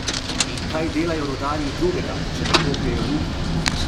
In kaj delajo rudarji drugega, če ne kopljejo luknje?